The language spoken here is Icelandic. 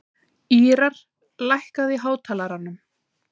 Ýrar, lækkaðu í hátalaranum.